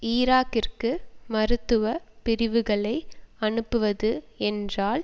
ஈராக்கிற்கு மருத்துவ பிரிவுகளை அனுப்புவது என்றால்